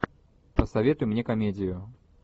посоветуй мне комедию